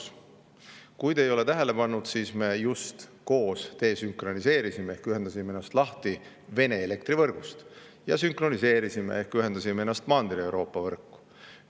Võib-olla te ei ole tähele pannud, aga me just koos desünkroniseerisime ehk ühendasime ennast lahti Vene elektrivõrgust ja sünkroniseerisime ehk ühendasime ennast Mandri-Euroopa võrku.